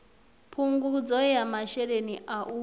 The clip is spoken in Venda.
phungudzo ya masheleni a u